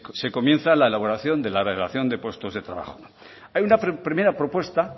se comienza la elaboración de la relación de puestos de trabajo hay una primera propuesta